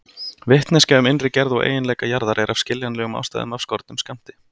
Vitneskja um innri gerð og eiginleika jarðar er af skiljanlegum ástæðum af skornum skammti.